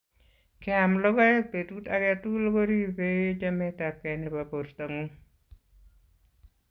Keam logoek petut age tugul ko ripei chametapkei nebo portongung